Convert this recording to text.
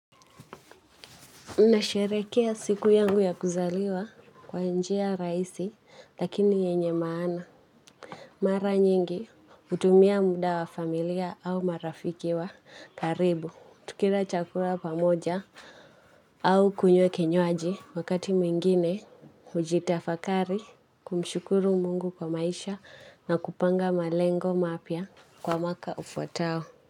Unasherekea siku yangu ya kuzaliwa kwa njia rahisi lakini yenye maana. Mara nyingi utumia muda wa familia au marafiki wa karibu. Tukila chakula pamoja au kunywe kinywaji wakati mingine ujitafakari kumshukuru mungu kwa maisha na kupanga malengo mapya kwa mwaka ufuatao.